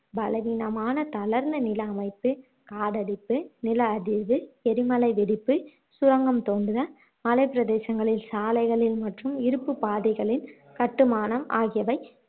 பலவீனமான தளர்ந்த நில அமைப்பு, காடழிப்பு, நில அதிர்வு, எரிமலை வெடிப்பு, சுரங்கம் தோண்டுதல் மலைப்பிரதேசங்களில் சாலைகளில் மற்றும் இருப்புப் பாதைகளின் கட்டுமானம் ஆகியவை